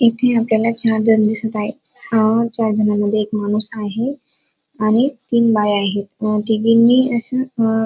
इथे आपल्याला चार जण दिसत आहे चार जणांना मध्ये एक माणूस आहे आणि तीन बाय आहे तिघीनी अश्या--